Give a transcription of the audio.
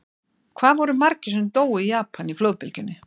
Hvað voru margir sem dóu í Japan í flóðbylgjunni?